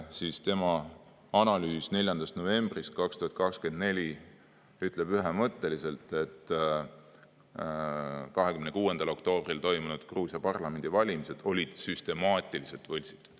Aga tema analüüsis 4. novembrist 2024 on ühemõtteliselt öeldud, et 26. oktoobril toimunud Gruusia parlamendivalimised olid süstemaatiliselt võltsitud.